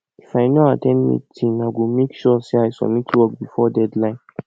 if i no at ten d meeting i go make sure say i submit work before deadline